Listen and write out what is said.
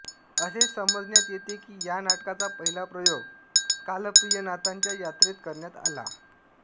असे समजण्यात येते कि या नाटकाचा पहिला प्रयोग कालप्रियनाथाच्या यात्रेत करण्यात आला